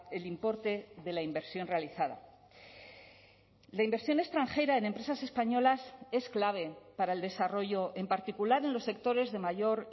el importe de la inversión realizada la inversión extranjera en empresas españolas es clave para el desarrollo en particular en los sectores de mayor